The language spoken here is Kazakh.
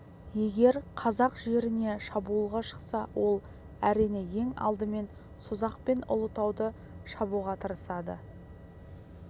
егер қазақ жеріне шабуылға шықса ол әрине ең алдымен созақ пен ұлытауды шабуға тырысады